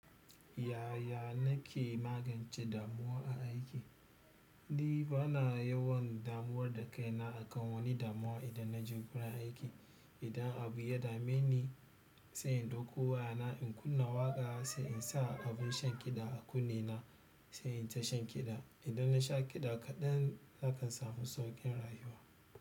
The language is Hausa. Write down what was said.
Yaya na ke magance damuwa a aiki? Ni bana yawan damuwa da kaina akan wani damuwa idan naje gurin aiki idan abu ya dame ni, sai in ɗauko wayana in kunna waƙa sai in sa abun shan kiɗa a kunne na sai in tashan kiɗa. Idan na sha kiɗa kaɗan, nakan samu sauƙin rayuwa.